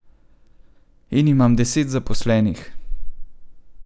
In imam deset zaposlenih.